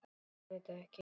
Þú skilur þetta?